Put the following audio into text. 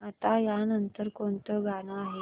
आता या नंतर कोणतं गाणं आहे